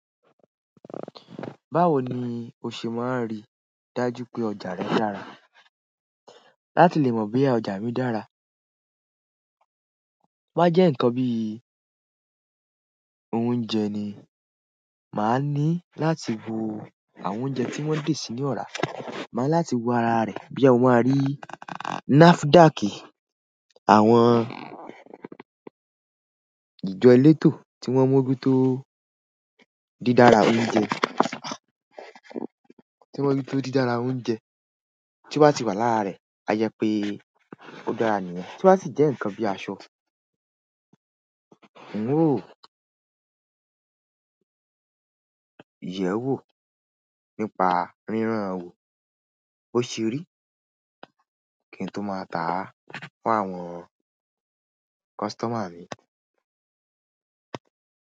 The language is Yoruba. Báwo ni o ṣe máa rí dájú pé ọjà rẹ dára? Láti lè mọ bí ọjà mi dára, bá jẹ́ nǹkan bí i oúnjẹ ni, màá ní láti wo àwọn oúnjẹ tí wọ́n dè sínú ọ̀rá, màá láti wo ara rẹ̀ boya mo máa rí NAFDAC, àwọn ìjọ elétò tí wọ́n moju tó dídára oúnjẹ, tí wọ́n moju tó dídára oúnjẹ tí o tì wà lára rẹ̀, a jẹ pé ó dára ni. Tí o sì jẹ́ ǹkan bí i aṣọ, un ò wò, yẹ̀ wò, nípa ríràn ò, bó ṣe rí kí n tó máa tà fún àwọn customer mi.